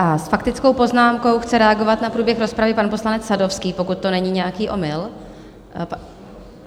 A s faktickou poznámku chce reagovat na průběh rozpravy pan poslanec Sadovský, pokud to není nějaký omyl.